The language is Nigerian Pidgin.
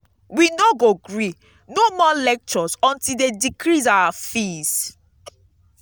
we no go gree no more lectures until dey decrease our fees.